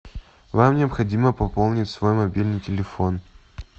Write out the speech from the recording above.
вам необходимо пополнить свой мобильный телефон